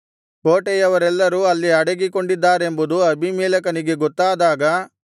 ಕೋಟೆಯವರೆಲ್ಲರೂ ಅಲ್ಲಿ ಅಡಗಿಕೊಂಡಿದ್ದಾರೆಂಬುದು ಅಬೀಮೆಲೆಕನಿಗೆ ಗೊತ್ತಾದಾಗ